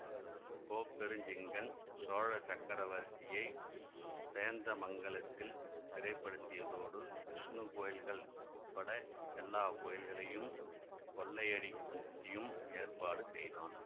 கோப்பெருஞ்சிங்கன் சோழ சக்கரவர்த்தியை சேந்தமங்கலத்தில் சிறைப்படுத்தியதோடு விஷ்ணு கோயில்கள் உட்பட எல்லா கோயில்களையும் கொள்ளையடிக்கும் படியும் ஏற்பாடு செய்தான்